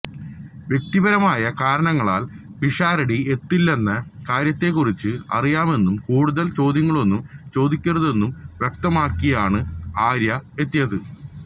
വ്യക്തിപരമായ കാരണങ്ങളാല് പിഷാരടി എത്തില്ലെന്ന കാര്യത്തെക്കുറിച്ച് അറിയാമെന്നും കൂടുതല് ചോദ്യങ്ങളൊന്നും ചോദിക്കരുതെന്നും വ്യക്തമാക്കിയാണ് ആര്യ എത്തിയത്